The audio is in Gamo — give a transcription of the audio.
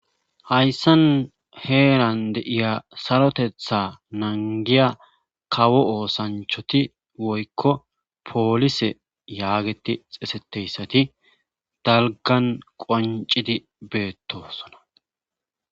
Hayssan heeran de'iya sarotetha nanggiya kawo oosanchoti woykko poolise yaageti xeseteyssati dalggan qonccidi beettosona.